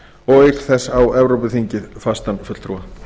og auk þess á evrópuþingið fastan fulltrúa